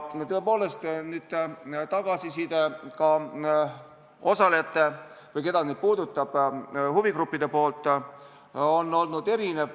Tõepoolest, tagasiside osalejatelt või nendelt, keda see puudutab, huvigruppidelt on olnud erinev.